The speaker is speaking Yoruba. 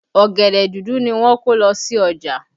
Ọ̀gẹ̀dẹ̀ dúdú ni wọ́n kó lọ sí ọjà